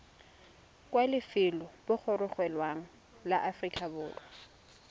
kwa lefelobogorogelong la aforika borwa